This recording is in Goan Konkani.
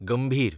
गंभीर